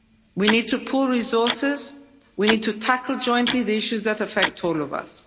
We need to pool resources, we need to tackle jointly the issues that affect all of us.